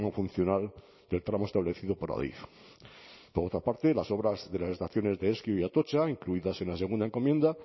funcional del tramo establecido por adif por otra parte las obras de las estaciones de ezkio y atotxa incluidas en la segunda encomienda